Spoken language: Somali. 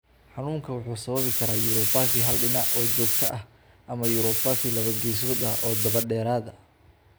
Xanuunku waxa uu sababi karaa uropathy hal dhinac oo joogto ah ama uropathy laba geesood ah oo daba dheeraada.